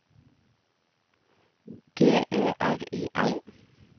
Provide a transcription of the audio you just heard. G Ø R I L